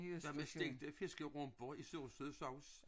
Hvad med stegte fiskerumper i sursød sovs?